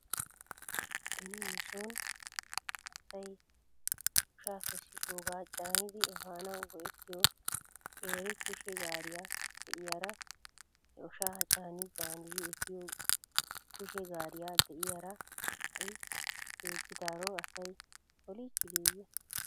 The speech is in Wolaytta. Beni nuson asay oshaa kessidoogaa caanidi efanaw go'ettiyoo qeeri kushe gaariyaa de'iyaari he oshaa caani caanidi efiyoo kushe gaariyaa de'iyaara ha'i ceeggidaaro asay oliichchideeyye?